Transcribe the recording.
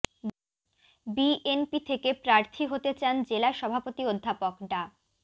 BNP থেকে প্রার্থী হতে চান জেলা সভাপতি অধ্যাপক ডা